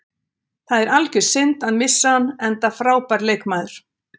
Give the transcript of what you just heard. Það er algjör synd að missa hann enda frábær leikmaður.